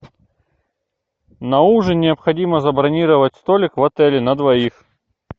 на ужин необходимо забронировать столик в отеле на двоих